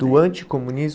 Do anticomunismo?